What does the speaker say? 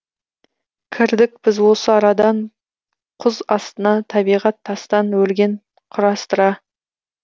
кірдік біз осы арадан құз астына табиғат тастан өрген құрастыра